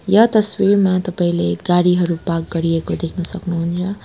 य तस्वीरमा तपाईले गाडीहरु पार्क गरिएको देखना सक्नुहुन्छ।